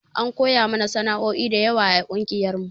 An koya mana sanao'i dayawa a ƙungiyar mu